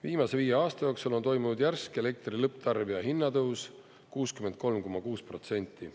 Viimase viie aasta jooksul on toimunud järsk elektri lõpptarbija hinnatõus 63,6%.